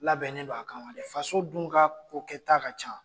Labɛnnen don a kama de, faso dun ka ko kɛ taa ka ca!